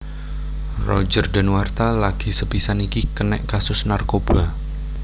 Roger Danuarta lagi sepisan iki kenek kasus narkoba